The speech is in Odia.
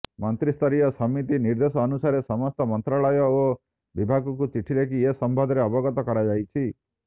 ମନ୍ତ୍ରିସ୍ତରୀୟ ସମିତିର ନିର୍ଦ୍ଦେଶ ଅନୁସାରେ ସମସ୍ତ ମନ୍ତ୍ରାଳୟ ଓ ବିଭାଗକୁ ଚିଠି ଲେଖି ଏ ସମ୍ମନ୍ଧରେ ଅବଗତ କରାଯାଇଛି